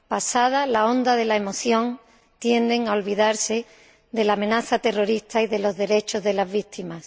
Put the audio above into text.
Pasada la conmoción, tienden a olvidarse de la amenaza terrorista y de los derechos de las víctimas.